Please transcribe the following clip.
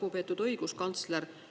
Lugupeetud õiguskantsler!